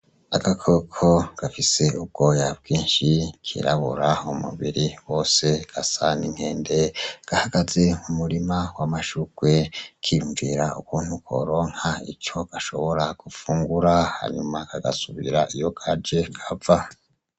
Agakoko gafise ubwoya bwinshi kirabura umubiri wose gasa n'inkende gahagaze mu murima w'amashurwe kiyumvira ukuntu koronka ico gashobora gufungura hanyuma kagasubira iyo Kaje kava.